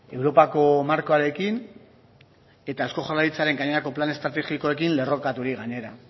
europako markoarekin eta eusko jaurlaritzaren gainerako plan estrategikoekin lerrokaturik gainera